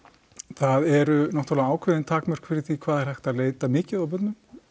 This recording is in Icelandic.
það eru náttúrulega ákveðin takmörk fyrir því hvað er hægt að leita mikið á börnum